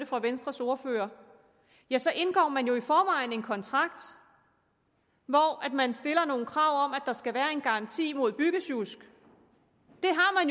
fra venstres ordfører ja så indgår man jo i forvejen en kontrakt hvor man stiller nogle krav om at der skal være en garanti mod byggesjusk